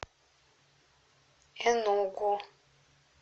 энугу